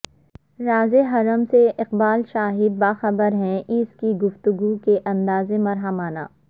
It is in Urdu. راز حرم سے اقبال شاید باخبر ہے ہیں اس کی گفتگو کے انداز محرمانہ